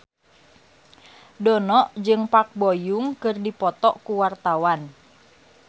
Dono jeung Park Bo Yung keur dipoto ku wartawan